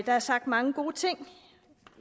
der er sagt mange gode ting